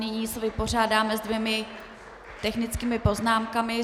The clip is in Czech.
Nyní se vypořádáme s dvěma technickými poznámkami.